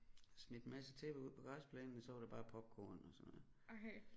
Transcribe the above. Smidt en masse tæpper ud på græsplænen og så var det bare popcorn og sådan noget